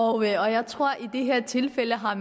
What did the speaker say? og jeg tror at man i det her tilfælde har